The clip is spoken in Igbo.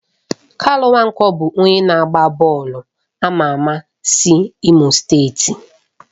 Kanu Nwankwo bụ onye na-agba bọọlụ ama ama si Imo steeti.